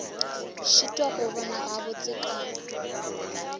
šitwa go bona gabotse ka